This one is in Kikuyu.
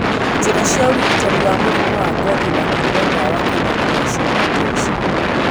Njĩra cia ũrigitani wa mũrimũ wa ngothi na kũnyua ndawa kana gũthecwo nĩ ta ici